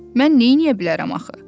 Mən neyləyə bilərəm axı?